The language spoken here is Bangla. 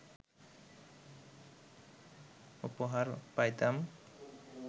উপহার পাইতাম